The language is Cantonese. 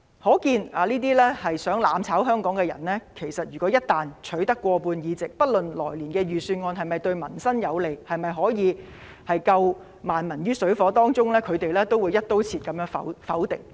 可見如果這些企圖"攬炒"香港的人一旦取得立法會過半議席，不論來年的預算案是否對民生有利，能否拯救萬民於水火之中，他們也會"一刀切"地否決。